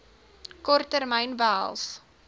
kort termyn behels